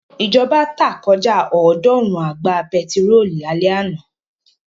Ìjọba tá kọjá ọ̀ọ́dúnrún àgbá pẹtírólù lálẹ́ àná.